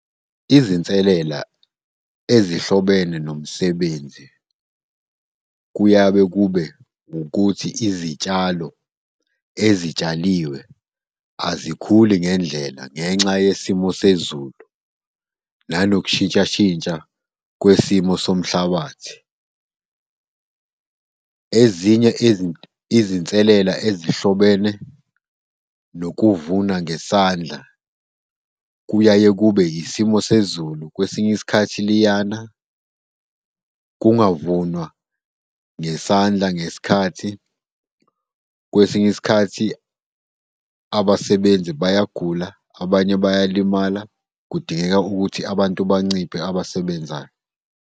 Izinselela ezihlobene nomsebenzi kuyabe kube ukuthi izitshalo ezitshaliwe azikhuli ngendlela ngenxa yesimo sezulu, nanokushintshashintsha kwesimo somhlabathi. Ezinye izinselela ezihlobene nokuvuna ngesandla kuyaye kube isimo sezulu. Kwesinye isikhathi liyana, kungavunwa ngesandla, ngesikhathi, kwesinye isikhathi abasebenzi bayagula, abanye bayalimala. Kudingeka ukuthi abantu banciphe abasebenzayo.